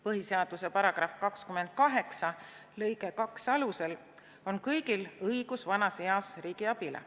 Põhiseaduse § 28 lõike 2 alusel on kõigil õigus vanas eas riigi abile.